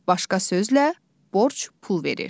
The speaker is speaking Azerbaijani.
Başqa sözlə, borc pul verir.